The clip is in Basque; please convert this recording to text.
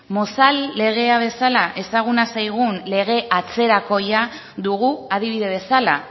mozal legea bezala ezaguna zaigun lege atzerakoia dugu adibide bezala